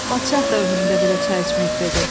Padşah da ömründə belə çay içməyib - dedi.